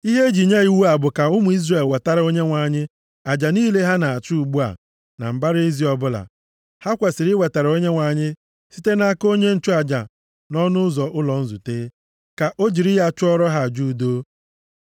Ihe e ji nye iwu a bụ ka ụmụ Izrel wetara Onyenwe anyị aja niile ha na-achụ ugbu a na mbara ezi ọbụla. Ha kwesiri iwetara ya Onyenwe anyị site nʼaka onye nchụaja nʼọnụ ụzọ ụlọ nzute, ka o jiri ya chụọrọ ha aja udo.